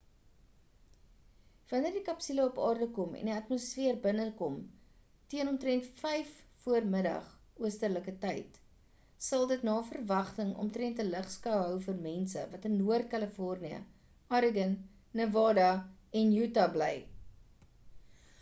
wanneer die kapsule op aarde kom en die atmosfeer binnekom teen omtrend 5vm oosterlike tyd sal dit na verwagting omtrend ‘n ligskou hou vir mense wat in noord california oregon nevada en utah bly